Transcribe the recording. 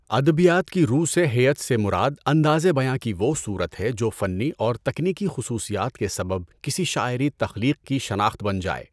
ادبیات کی رو سے ہیئت سے مراد اندازِ بیاں کی وہ صورت ہے جو فنی اور تکنیکی خصوصیات کے سبب کسی شاعری تخلیق کی شناخت بن جائے۔